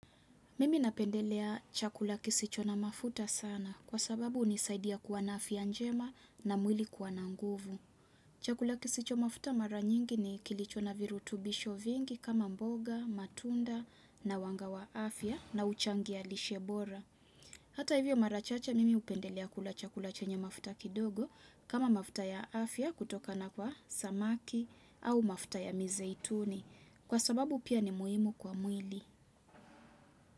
Mimi napendelea chakula kisicho na mafuta sana kwa sababu hunisaidia kuwa na afya njema na mwili kuwa na nguvu. Chakula kisicho na mafuta mara nyingi ni kilicho na virutubisho vingi kama mboga, matunda na wanga wa afia na huchangia lishe bora. Hata hivyo mara chache mimi hupendelea kula chakula chenye mafuta kidogo kama mafuta ya afya kutokana kwa samaki au mafuta ya mizeituni kwa sababu pia ni muhimu kwa mwili.